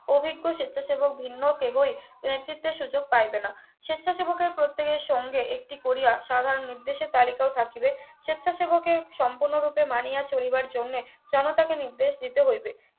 অভিজ্ঞ স্বেচ্ছাসেবক ভিন্ন হোক এগোই এক্ষেত্রে সুযোগ পাইবে না স্বেচ্ছাসেবকের প্রত্যেকের সঙ্গে একটি কোরিয়া সাধারণ নির্দেশের তালিকাও থাকিবে স্বেচ্ছাসেবকের সম্পূর্ণরূপে মানিয়া চলিবার জন্যে জনতাকে নির্দেশ দিতে হইবে